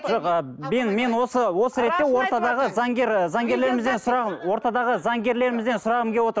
жоқ ы мен осы осы ретте ортадағы заңгер ы заңгерлерімізден ортадағы заңгерлерімізден сұрағым келіп отыр